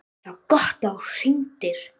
ÞAÐ VAR GOTT AÐ ÞÚ HRINGDIR.